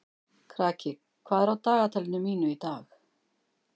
Kraki, hvað er á dagatalinu mínu í dag?